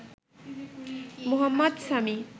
Mohammad Sami